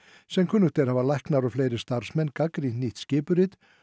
sem kunnugt er hafa læknar og fleiri starfsmenn gagnrýnt nýtt skipurit